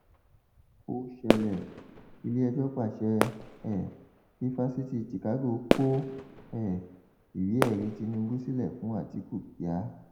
ó ṣẹlẹ iléẹjọ pàṣẹ um kí fásitì chicago kọ um ìwéẹrí tinubu sílẹ fún àtikukíà